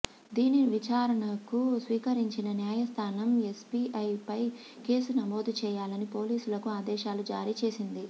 దీనిని విచారణకు స్వీకరించిన న్యాయస్థానం ఎస్బీఐపై కేసు నమోదు చేయాలని పోలీసులకు ఆదేశాలు జారీ చేసింది